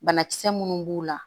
Banakisɛ minnu b'u la